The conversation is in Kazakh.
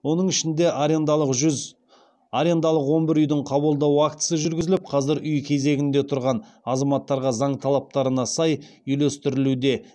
оның ішінде арендалық он бір үйдің қабылдау актісі жүргізіліп қазір үй кезегінде тұрған азаматтарға заң талаптарына сай үйлестірілуде